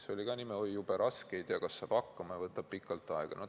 See oli ka jube raske, sest ei olnud teada, kas saab hakkama, ja see võtab pikalt aega.